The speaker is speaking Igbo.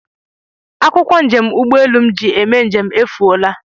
Akwụkwọ njem ụgbọelu m ji eme njem efuola